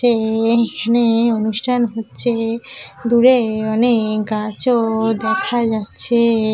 যে এখানে অনুষ্ঠান হচ্ছে দূরে অনেক গাছ ও দেখা যাচ্ছে।